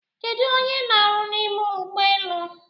Kedụ onye n'aru n'ime ụgbọelu?